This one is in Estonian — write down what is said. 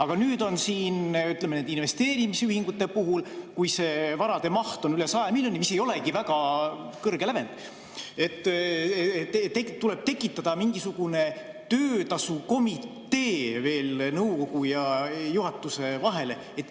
Aga nüüd, ütleme, nende investeerimisühingute puhul, kui varade maht on üle 100 miljoni, mis ei olegi väga kõrge lävend, tuleb tekitada mingisugune töötasukomitee veel nõukogu ja juhatuse vahele.